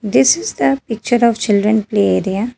This is the picture of children play area.